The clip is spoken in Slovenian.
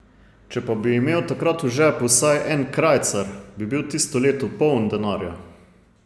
Če pa bi imel takrat v žepu vsaj en krajcar, bi bil tisto leto poln denarja.